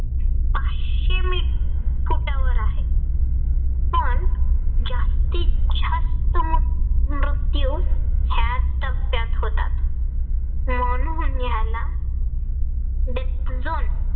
फुटावर आहे. पण जास्तीत जास्त मृत्यू ह्याच टप्प्यात होतात. म्हणून याला death zone